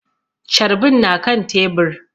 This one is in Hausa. Carbin na kan tebur